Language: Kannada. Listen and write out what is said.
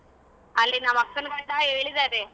ಅಲ್ಲಿ ನಮ್ಮ ಅಕ್ಕನ್ ಗಂಡ ಹೇಳಿದಾರೆ.